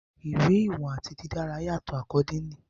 Iwe iwọn ati didara yatọ accordingly